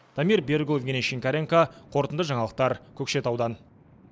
дамир берікұлы евгений шинкаренко қорытынды жаңалықтар көкшетаудан